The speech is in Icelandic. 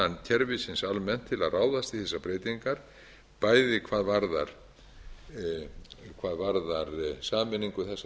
kerfisins almennt til að ráðast í þessar breytingar bæði hvað varðar sameiningu þessara tveggja